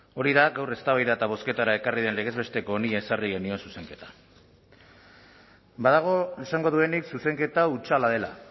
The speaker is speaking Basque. hori da gaur eztabaida eta bozketara ekarri den legez besteko honi ezarri genion zuzenketa badago esango duenik zuzenketa hutsala dela